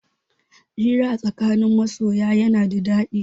Hira a tsakanin masoya yana da daɗi.